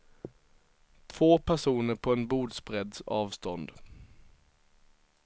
Två personer på en bordsbredds avstånd.